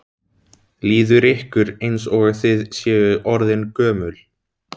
Líður ykkur eins og þið séu orðin gömul?